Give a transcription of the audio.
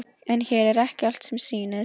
En hér er ekki allt sem sýnist.